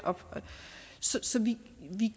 så vi